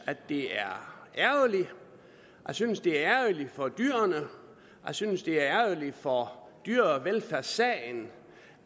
det er ærgerligt jeg synes det er ærgerligt for dyrene jeg synes det er ærgerligt for dyrevelfærdssagen